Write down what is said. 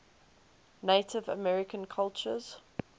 native american cultures